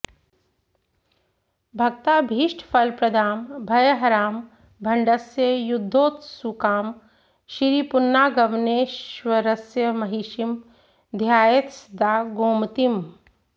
भक्ताभीष्टफलप्रदां भयहरां भण्डस्य युद्धोत्सुकां श्रीपुन्नागवनेश्वरस्य महिषीं ध्यायेत्सदा गोमतीम्